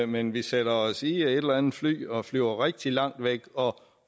men vi sætter os i et eller andet fly og flyver rigtig langt væk og